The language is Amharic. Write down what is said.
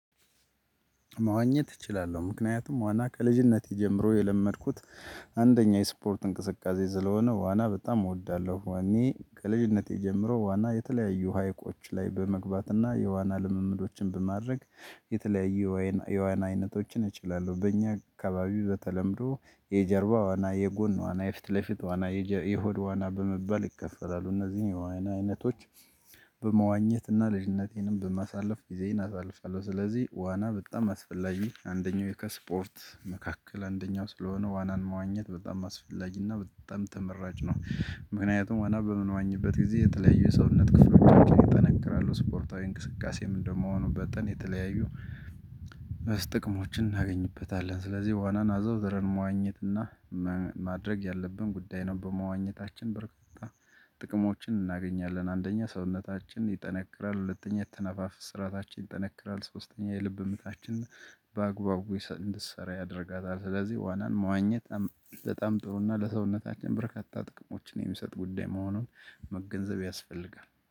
መዋኘት እችላለሁ ምክንያቱም ዋና ከልጅነቴ ጀምሮ የለመድኩት አንደኛ የስፖርት እንቅስቃሴ ስለሆነ ዋና በጣም እወዳለሁ። እኔ ከልጅነቴ ጀምሮ ዋና የተለያዩ ሀይቆች ላይ በመግባትና የዋና ልምምዶችን በማድረግ የተለያየ የዋና አይነቶችን እችላለሁ። በእኛ አካባቢው በተለምዶ የጀርባ ዋና የጎን ዋና የፊት ለፊት ዋና የሆድ ዋና በመባል ይከፈላሉ። እነዚህን የዋና አይነቶች በመዋኘት እና ልጅነቴንም በማሳለፍ ጊዜንየን አሳልፋለሁ። ስለዚህ ዋና በጣም አስፈላጊ አንደኛው የከስፖርት መካከል አንደኛው ስለሆነ ዋናን መዋኘት በጣም አስፈላጊና በጣም ተመራጭ ነው። ምክንያቱም ዋና በምንዋኝበት ጊዜ የተለያዩ ሰውነት ክፍሎቻችን ይጠነክራሉ ስፖርታዊ እንቅስቃሴም እንደምሆኑ በጠን የተለያዩ ጥቅሞችን እናገኝበታለን። ስለዚህ ዋናን አዘውትረን መዋኘትና ማድረግ ያለብን ጉዳይ ነው። በመዋኘታችን በረካታ ጥቅሞችን እናገኛለን። አንደኛ ሰውነታችን ይጠነክራል። ሁለተኛ የአተነፋፈስ ስራታችን ይጠነክራል። ሶስተኛ የልብ ምታችን በአግባቡ እንድትሰራ ያደርጋታል። ስለዚህ ዋናን መዋኘት በጣም ጥሩና ለሰውነታችን በርካታ ጥቅሞችን የሚሰጥ ጉዳይ መሆኑን መገንዘብ ያስፈልጋል